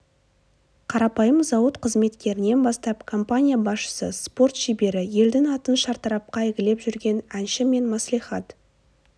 қарапайым зауыт қызметкерінен бастап компания басшысы спорт шебері елдің атын шартарапқа әйгілеп жүрген әнші мен мәслихат